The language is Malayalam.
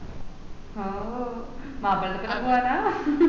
ഓഹ് മാപ്പിളന്റെഡത് പോവ